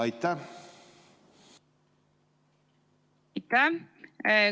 Aitäh!